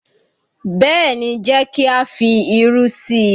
Bẹ́ẹ̀ ni, jẹ́ kí á fi irú sí i.